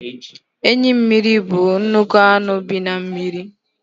Enyi mmiri bụ nnukwu anụ bi na mmiri.